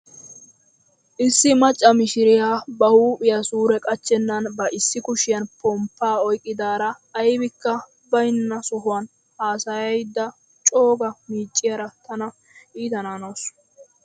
Issi macca mishiriyaa ba huuphphiyaa suure qachchenan ba issi kushiyaan pomppaa oyqqidaara aybikka bayna sohuwaan haasayayda cooga miicciyaara tana itanaanawus.